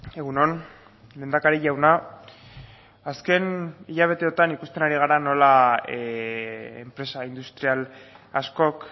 egun on lehendakari jauna azken hilabeteotan ikusten ari gara nola enpresa industrial askok